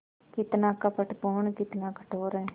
कितना कपटपूर्ण कितना कठोर है